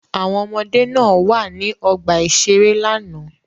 Àwọn ọmọdé náà wà ní ọgbà-ìṣeré lánàá.